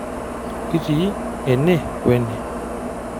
Kitii ene we ene.